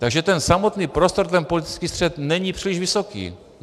Takže ten samotný prostor, ten politický střet, není příliš vysoký.